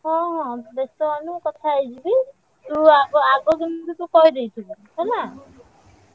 ହଁ ହଁ ବେସ୍ତ ହଅନି ମୁଁ କଥା ହେଇଯିବି। ତୁ ଆଗ ଆଗ କିନ୍ତୁ ତୁ କହିଦେଇଥିବୁ ହେଲା।